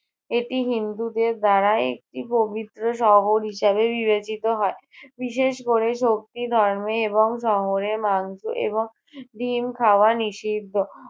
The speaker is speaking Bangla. এটি হিন্দুদের দ্বারা একটি পবিত্র শহর হিসাবে বিবেচিত হয়। বিশেষ করে শক্তি ধর্মে এবং শহরে মাংস এবং ডিম খাওয়া নিষিদ্ধ।